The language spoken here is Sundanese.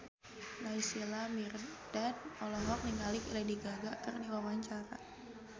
Naysila Mirdad olohok ningali Lady Gaga keur diwawancara